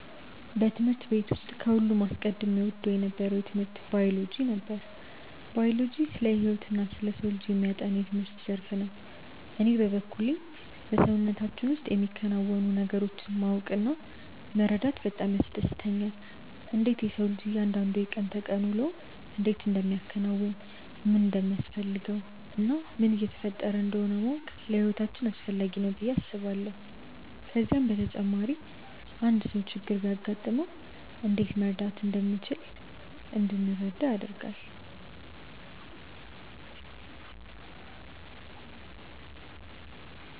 በትምህርት ቤት ውስጥ ከሁሉም አስቀድሜ እወደው የነበረው ትምህርት ባዮሎጂ ነበር። ባዮሎጂ ስለ ህይወትና ስለ ሰው ልጅ የሚያጠና የትምህርት ዘርፍ ነው። እኔ በበኩሌ በሰውነታችን ውስጥ የሚከናወኑ ነገሮችን ማወቅ እና መረዳት በጣም ያስደስተኛል። እንዴት የሰው ልጅ እያንዳንዱ የቀን ተቀን ውሎውን እንዴት እንደሚያከናውን፣ ምን እንደሚያስፈልገው እና ምን እየተፈጠረ እንደሆነ ማወቅ ለህይወታችን አስፈላጊ ነው ብዬ አስባለሁ። ከዛም በተጨማሪ አንድ ሰው ችግር ቢያጋጥመው እንዴት መርዳት እንደምንችል እንድንረዳ ያደርጋል።